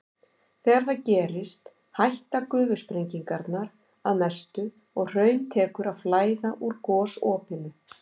Þegar það gerist hætta gufusprengingarnar að mestu og hraun tekur að flæða úr gosopinu.